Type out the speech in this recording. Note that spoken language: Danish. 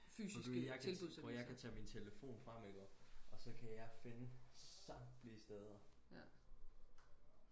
prøv du lige jeg kan prøv og hør jeg kan tage min telefon frem ikke også og så jeg kan finde samtlige steder